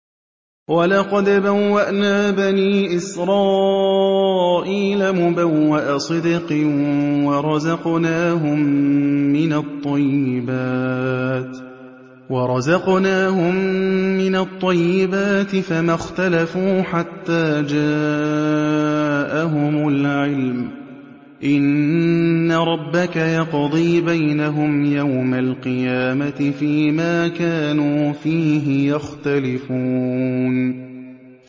وَلَقَدْ بَوَّأْنَا بَنِي إِسْرَائِيلَ مُبَوَّأَ صِدْقٍ وَرَزَقْنَاهُم مِّنَ الطَّيِّبَاتِ فَمَا اخْتَلَفُوا حَتَّىٰ جَاءَهُمُ الْعِلْمُ ۚ إِنَّ رَبَّكَ يَقْضِي بَيْنَهُمْ يَوْمَ الْقِيَامَةِ فِيمَا كَانُوا فِيهِ يَخْتَلِفُونَ